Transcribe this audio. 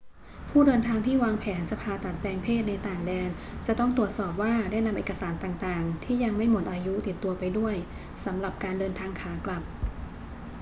ผู้เดินทางที่วางแผนจะผ่าตัดแปลงเพศในต่างแดนจะต้องตรวจสอบว่าได้นำเอกสารต่าง ๆ ที่ยังไม่หมดอายุติดตัวไปด้วยสำหรับการเดินทางขากลับ